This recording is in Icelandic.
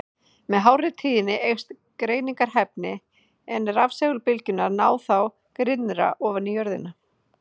Með hárri tíðni eykst greiningarhæfnin, en rafsegulbylgjurnar ná þá grynnra ofan í jörðina.